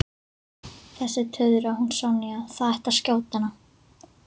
Þessi tuðra, hún Sonja, það ætti að skjóta hana